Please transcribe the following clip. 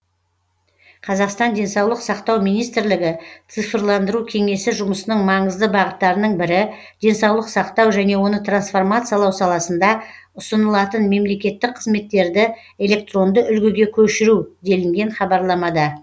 қазақстан денсаулық сақтау министрлігі цифрландыру кеңсесі жұмысының маңызды бағыттарының бірі денсаулық сақтау және оны трансформациялау саласында ұсынылатын мемлекеттік қызметтерді электронды үлгіге көшіру делінген хабарламада